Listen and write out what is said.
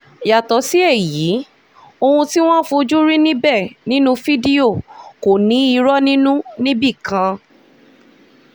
yàtọ̀ sí èyí ohun tí wọ́n fojú rí níbẹ̀ nínú fídíò kò ní irọ́ nínú níbì kan